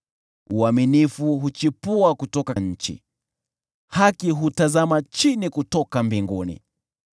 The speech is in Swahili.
Uaminifu huchipua kutoka nchi, haki hutazama chini kutoka mbinguni.